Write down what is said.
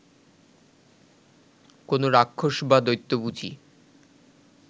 কোনো রাক্ষস বা দৈত্য বুঝি